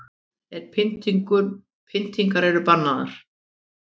En pyntingar eru bannaðar